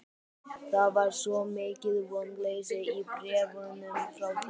Það var svo mikið vonleysi í bréfunum frá þér.